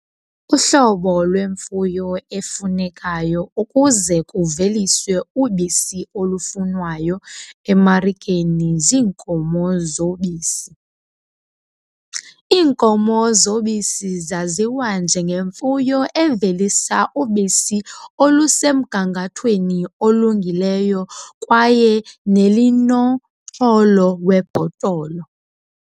Uhlobo lwemfuyo efunekayo ukuze kuveliswe ubisi olufunwayo emarikeni ziinkomo zobisi. Iinkomo zobisi zaziwa njengemfuyo evelisa ubisi olusemgangathweni olungileyo kwaye nelinomxholo webhotolo.